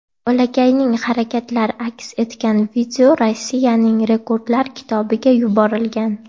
Bolakayning harakatlar aks etgan video Rossiyaning rekordlar kitobiga yuborilgan.